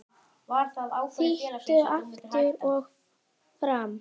Þýtur aftur og fram.